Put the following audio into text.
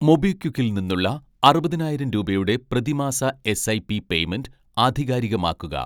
മൊബിക്വിക്കിൽ നിന്നുള്ള അറുപതിനായിരം രൂപയുടെ പ്രതിമാസ എസ്ഐപി പേയ്‌മെന്റ് ആധികാരികമാക്കുക